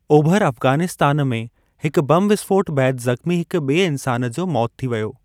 ओभर अफग़ानिस्तान में हिकु बम विस्फोट बैदि ज़ख़्मी हिक ॿिए इंसान जी मौति थी वेई।